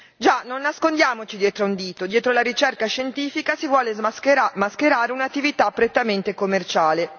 Già, non nascondiamoci dietro un dito dietro la ricerca scientifica si vuole mascherare un'attività prettamente commerciale.